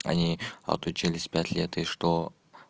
они отучились пять лет и что